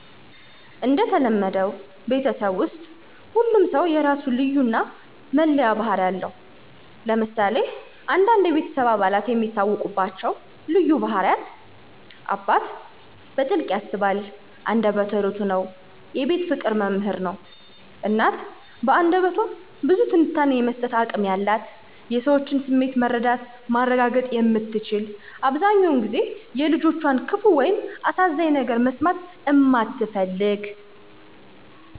እንደተለመደው ቤተሰብ ውስጥ ሁሉም ሰው የራሱ ልዩነት እና መለያ ባህሪ አለው። ለምሳሌ አንዳንድ የቤተሰብ አባላት የሚታወቁባቸው ልዩ ባህሪያት: 1. አባት: በጥልቀት ያስባል አንደበተ እርዕቱ ነው የቤት ፍቅር መምህር ነው። 2. እናት: በአንደበቷ ብዙ ትንታኔ የመስጠት አቅም ያላት የሰዎችን ስሜት መረዳት ማረጋገጥ የምትችል አብዘሃኛውን ጊዜ የልጆቿን ክፋ ወይም አሳዛኝ ነገር መስማት እማትፈልግ።